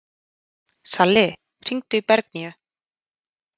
Salli, hringdu í Bergnýju.